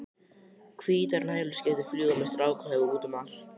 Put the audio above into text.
Hvítar nælonskyrtur fljúga með strákahöfuð útum allt.